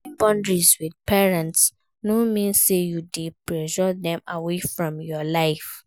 setting boundaries with parents no mean say you de pursue dem away from your life